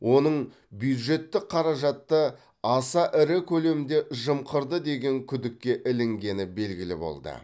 оның бюджеттік қаражатты аса ірі көлемде жымқырды деген күдікке ілінгені белгілі болды